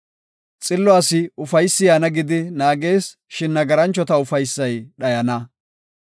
Xillo asi ufaysi yaana gidi naagees; shin nagaranchota ufaysay dhayana.